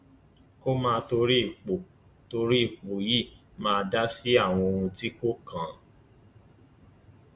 kó má torí ipò torí ipò yìí máa dá sí àwọn ohun tí kò kàn án